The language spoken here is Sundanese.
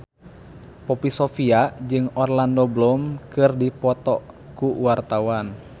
Poppy Sovia jeung Orlando Bloom keur dipoto ku wartawan